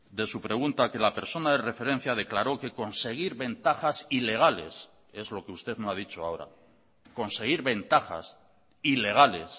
de su pregunta que la persona de referencia declaró que conseguir ventajas ilegales es lo que usted no ha dicho ahora conseguir ventajas ilegales